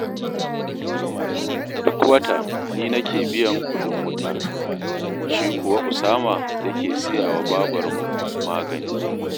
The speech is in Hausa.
Duk wata ni nake biyan kuɗin wuta, shi kuwa Usama yake siya wa babarmu magani